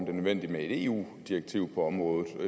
er nødvendigt med et eu direktiv på området